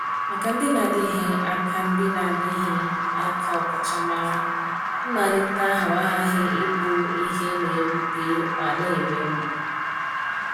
Maka ndị na-adịghị aka ndị na-adịghị aka ọkachamara, mmalite ahụ aghaghị ịbụ ihe na-ewute ma na-eme mgbu.